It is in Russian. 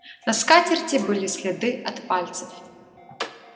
на скатерти были следы от пальцев